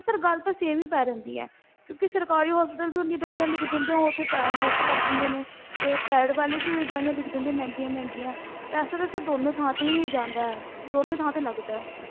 Sir ਗੱਲ ਤਾਂ same ਹੀ ਪੈ ਜਾਂਦੀ ਹੈ ਕਿਉਂਕਿ ਸਰਕਾਰੀ hospital ਵੀ ਉਨੀ ਦਵਾਈਆਂ ਲਿਖ ਦਿੰਦੇ ਆ ਉੱਥੇ time waste ਕਰ ਦਿੰਦੇ ਨੇ, ਤੇ private ਵਾਲੇ ਵੀ ਉਹੀ ਦਵਾਈਆਂ ਲਿਖ ਦਿੰਦੇ ਮਹਿੰਗੀਆਂ ਮਹਿੰਗੀਆਂ, ਪੈਸਾ ਤਾਂ sir ਦੋਨੋਂ ਥਾਂ ਤੇ ਹੀ ਜਾਂਦਾ ਹੈ, ਦੋਨੇ ਥਾਂ ਤੇ ਲੱਗਦਾ ਹੈ।